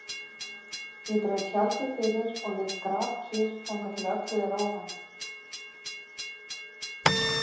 Ég dreg tjaldið fyrir og ligg grafkyrr þangað til öllu er óhætt.